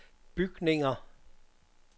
bygninger